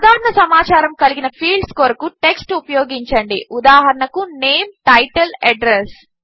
సాధారణ సమాచారము కలిగిన ఫీల్డ్స్ కొరకు టెక్స్ట్ ఉపయోగించండి ఉదాహరణకు నేమ్ టైటిల్ అడ్రెస్